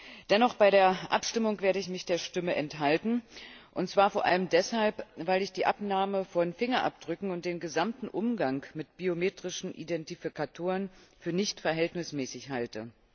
Dennoch werde ich mich bei der Abstimmung der Stimme enthalten, und zwar vor allem deshalb, weil ich die Abnahme von Fingerabdrücken und den gesamten Umgang mit biometrischen Identifikatoren für nicht verhältnismäßig halte.